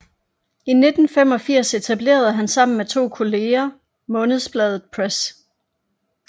I 1985 etablerede han sammen med to kolleger Månedsbladet Press